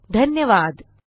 सहभागासाठी धन्यवाद